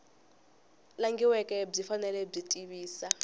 langhiweke byi fanele byi tivisa